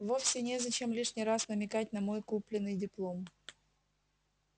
вовсе незачем лишний раз намекать на мой купленный диплом